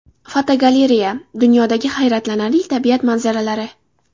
Fotogalereya: Dunyodagi hayratlanarli tabiat manzaralari.